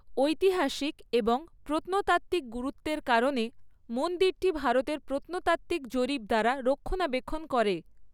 ঐতিহাসিক এবং প্রত্নতাত্ত্বিক গুরুত্বের কারণে, মন্দিরটি ভারতের প্রত্নতাত্ত্বিক জরিপ দ্বারা রক্ষণাবেক্ষণ করে।